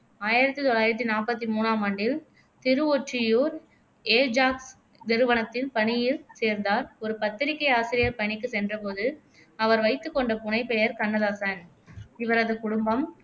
ஆயிரத்தி தொள்ளாயிரத்தி நாப்பத்தி மூணாம் ஆண்டில் திருவொற்றியூர் ஏஜாக்ஸ் நிறுவனத்தில் பணியில் சேர்ந்தார் ஒரு பத்திரிக்கை ஆசிரியர் பணிக்கு சென்றபோது அவர் வைத்துக் கொண்ட புனைபெயர் கண்ணதாசன் இவரது குடும்பம்